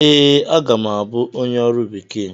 Ee, aga m abụ onye ọrụ bekee.